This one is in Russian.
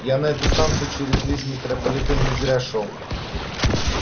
я на эту станцию через весь метрополитен не зря шёл